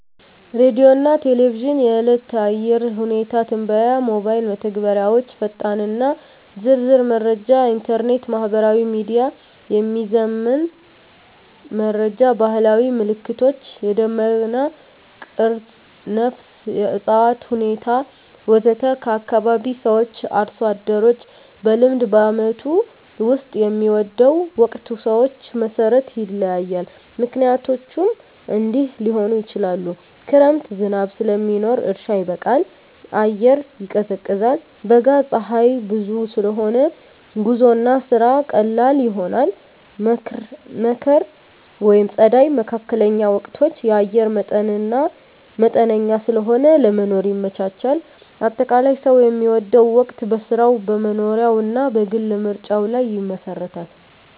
ሬዲዮና ቴሌቪዥን – የዕለት የአየር ሁኔታ ትንበያ ሞባይል መተግበሪያዎች ፈጣንና ዝርዝር መረጃ ኢንተርኔት/ማህበራዊ ሚዲያ – የሚዘመን መረጃ ባህላዊ ምልክቶች – የደመና ቅርጽ፣ ነፋስ፣ የእፅዋት ሁኔታ ወዘተ ከአካባቢ ሰዎች/አርሶ አደሮች – በልምድ በዓመቱ ውስጥ የሚወደው ወቅት ሰዎች መሠረት ይለያያል፣ ምክንያቶቹም እንዲህ ሊሆኑ ይችላሉ፦ ክረምት – ዝናብ ስለሚኖር እርሻ ይበቃል፣ አየር ይቀዝቃዛል። በጋ – ፀሐይ ብዙ ስለሆነ ጉዞና ስራ ቀላል ይሆናል። መከር/ጸደይ (መካከለኛ ወቅቶች) – አየር መጠነኛ ስለሆነ ለመኖር ይመቻቻል። አጠቃላይ፣ ሰው የሚወደው ወቅት በሥራው፣ በመኖሪያው እና በግል ምርጫው ላይ ይመሰረታል።